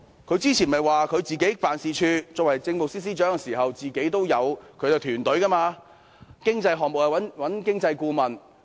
她之前不是曾表示自己作為政務司司長的時候，擁有自己的辦事處和團隊，若有經濟項目，便會自行諮詢經濟顧問？